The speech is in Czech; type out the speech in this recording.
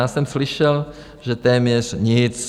Já jsem slyšel, že téměř nic.